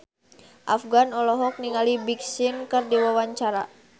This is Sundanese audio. Afgan olohok ningali Big Sean keur diwawancara